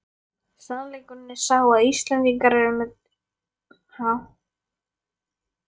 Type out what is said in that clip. Sannleikurinn er sá að Íslendingar eru með ritræpu!